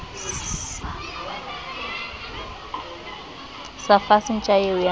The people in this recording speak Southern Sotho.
sa fase ntja eo ya